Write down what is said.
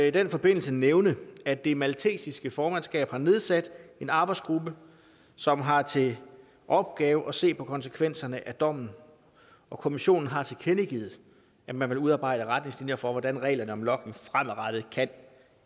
i den forbindelse nævne at det maltesiske formandskab har nedsat en arbejdsgruppe som har til opgave at se på konsekvenserne af dommen og kommissionen har tilkendegivet at man vil udarbejde retningslinjer for hvordan reglerne om logning fremadrettet kan